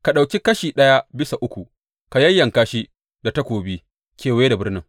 Ka ɗauki kashi ɗaya bisa uku ka yayyanka shi da takobi kewaye da birnin.